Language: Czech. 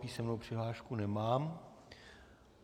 Písemnou přihlášku nemám.